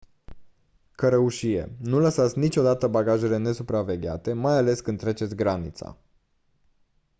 cărăușie nu lăsați niciodată bagajele nesupravegheate mai ales când treceți granița